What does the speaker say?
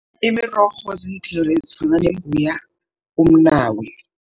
Imirorho, ziinthelo ezifana nembuya, umnawa.